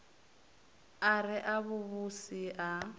a re a vhuvhusi a